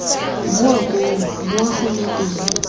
boa koo boa gone teng